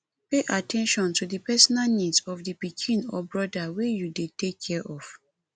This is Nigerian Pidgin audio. pay at ten tion to di personal needs of di pikin or broda wey you dey take care of